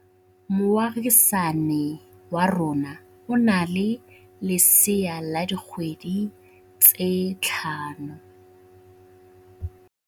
Moagisane wa rona o na le lesea la dikgwedi tse tlhano.